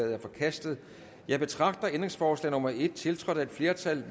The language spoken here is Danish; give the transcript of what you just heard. er forkastet jeg betragter ændringsforslag nummer en tiltrådt af et flertal